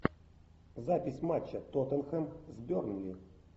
запись матча тоттенхэм с бернли